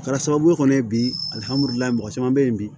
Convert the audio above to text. Kɛra sababu ye kɔni bilimamuso caman bɛ yen bi